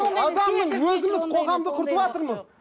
өзіміз қоғамды құртыватырмыз